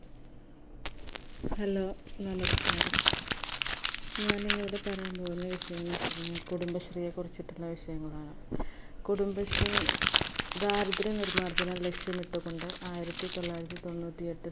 hello നമസ്കാരം ഞാനിന്ന് ഇവിട പറയാൻ പോവുന്ന വിഷയംന്ന് വെച്ചയ്‌ന കുടുംബശ്രീയെ കുറിച്ചിട്ടിള്ള വിഷയങ്ങളാണ് കുടുംബശ്രീ ദാരിദ്ര നിർമാജന ലക്ഷ്യമിട്ട് കൊണ്ട് ആയിരത്തി തൊള്ളായിരത്തി തൊണ്ണൂറ്റി എട്ടിൽ